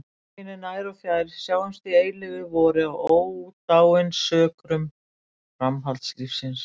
Lesendur mínir nær og fjær, sjáumst í eilífu vori á ódáinsökrum framhaldslífsins!